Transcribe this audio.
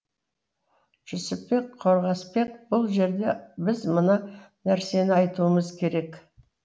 жүсіпбек қорғасбек бұл жерде біз мына нәрсені айтуымыз керек